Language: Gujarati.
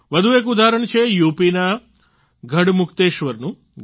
વધુ એક ઉદાહરણ છે યુપી ના ગઢમુક્તેશ્વરનું